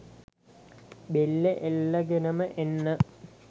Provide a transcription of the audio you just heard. බෙල්ලෙ එල්ලගෙනම එන්න